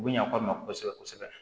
U bɛ ɲak'aw ma kosɛbɛ kosɛbɛ